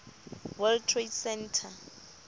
world trade center